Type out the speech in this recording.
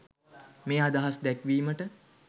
මේ අදහස් දැක්විමට.